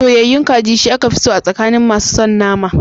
Soyayyayun kaji, shi aka fi so a tsakanin masu son nama.